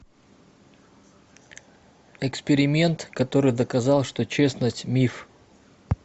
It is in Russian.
эксперимент который доказал что честность миф